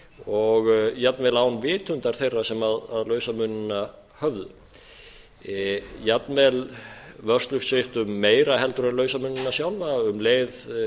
og jafnvel án vitundar þeirra sem lausamunina höfðu jafnvel vörslusviptu meira heldur en lausamunina sjálfa um leið